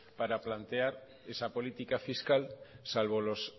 para plantear esa política fiscal salvo los